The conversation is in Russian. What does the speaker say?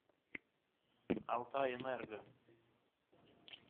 алтайэнерго